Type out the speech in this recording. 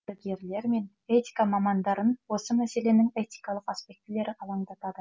дәрігерлер мен этика мамандарын осы мәселенің этикалық аспектілері алаңдатады